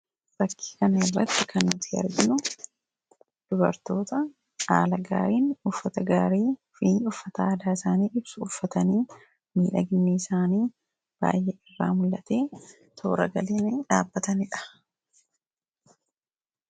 Fakkii kana irratti kan nuti arginu dubartoota haala gaariin uffata gaarii fi uffata aadaa isaanii ibsu uffatanii miidhaginni isaanii baay'ee irraa mul'atee toora galanii dhaabbatanidha.